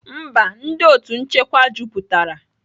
Mba, ndị otu nchekwa juputara